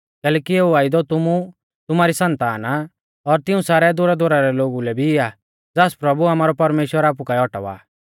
कैलैकि एऊ वायदौ तुमु तुमारी सन्ताना और तिऊं सारै दूरदुरा रै लोगु लै भी आ ज़ास प्रभु आमारौ परमेश्‍वर आपु काऐ औटावा